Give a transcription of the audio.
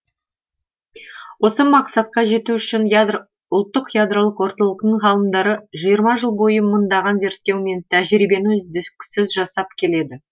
осы мақсатқа жету үшін ұлттық ядролық орталықтың ғалымдары жиырма жыл бойы мыңдаған зерттеу мен тәжірибені үздіксіз жасап келеді